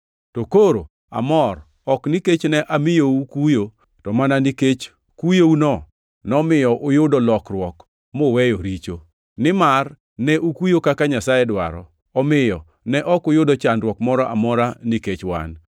To koro amor, ok nikech ne amiyo ukuyo, to mana nikech kuyouno nomiyo uyudo lokruok muweyo richo. Nimar ne ukuyo kaka Nyasaye dwaro, omiyo ne ok uyudo chandruok moro amora nikech wan.